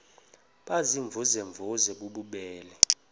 baziimvuze mvuze bububele